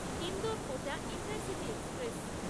Indore Kota intercity express